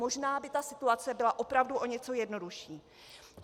Možná by ta situace byla opravdu o něco jednodušší.